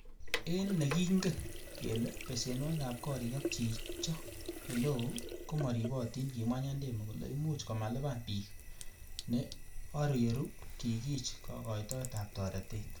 En nikingen kele besenwogik ab gorik ak chicho eleo komoribotin, Kimwa Nyandemo kole imuch komalipan bik, ne oriru kikich kokoitoet ab toretet.